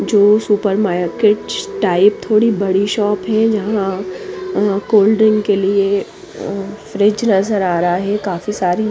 जो super market type थोड़ी बड़ी शॉप है जहॉ कोल्ड ड्रिंक के लिए फ्रिज नजर आ रहा है काफी सारि--